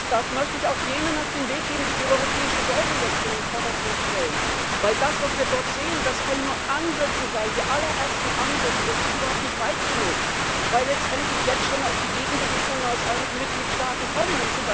Das möchte ich auch jenen auf den Weg geben, die die europäische Säule jetzt in den Vordergrund stellen, denn das, was wir dort sehen, können nur die allerersten Ansätze sein, das geht überhaupt nicht weit genug, weil letztendlich jetzt schon die Gegenbewegungen aus einigen Mitgliedstaaten kommen.